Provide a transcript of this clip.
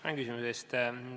Tänan küsimuse eest!